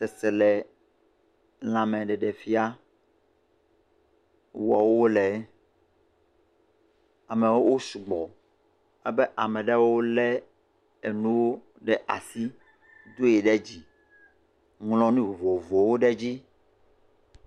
Seselelãmeɖeɖefia wɔm wole. Amewo sugbɔ. Abe ame aɖewo le enu ɖe asi doe ɖe dzi. Ŋlɔ nu vovovowo ɖe edzi.